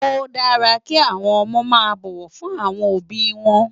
Ó dàrá ki áwòn òmò má bòwò fún áwòn óbi wòn